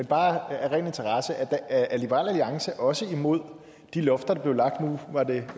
bare høre af ren interesse om liberal alliance også er imod de lofter der blev lagt nu var det